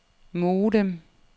modem